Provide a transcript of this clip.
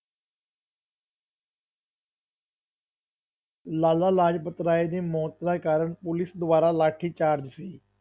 ਲਾਲਾ ਲਾਜਪਤ ਰਾਏ ਦੀ ਮੌਤ ਦਾ ਕਾਰਨ ਪੁਲਿਸ ਦੁਆਰਾ ਲਾਠੀਚਾਰਜ ਸੀ।